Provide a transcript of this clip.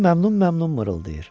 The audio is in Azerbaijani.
Koko məmnun-məmnun mırıldayır.